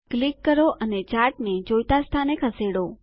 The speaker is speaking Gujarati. ક્લિક કરો અને ચાર્ટને જોઈતા સ્થાને ખસેડો